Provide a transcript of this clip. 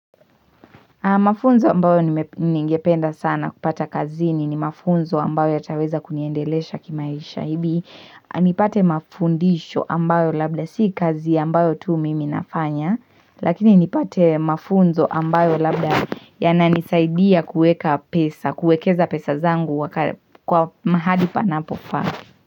Mafunzo ambayo ningependa sana kupata kazini ni mafunzo ambayo yataweza kuniendelesha kimaisha hili. Nipate mafundisho ambayo labda si kazi ambayo tu mimi nafanya. Lakini nipate mafunzo ambayo labda yananisaidia kueka pesa, kuekeza pesa zangu kwa mahali panapofaa.